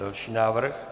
Další návrh